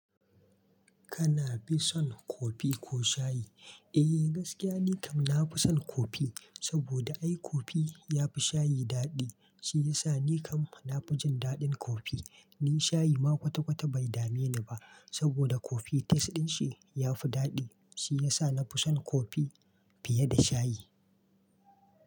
Kana fi son kofi ko shayi? Eh gaskiya, nikan nafi son kofi, saboda ai kofi ya fi shayi daɗi. Shi yasa nikam na fi jin daɗin kofi. Ni shayi ma kwata-kwata bai dame ni ba, saboda kofi taste ɗin shi ya fi daɗi. Shi yasa na fi son kofi fiye da shayi.